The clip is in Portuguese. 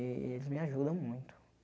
Eh eles me ajudam muito.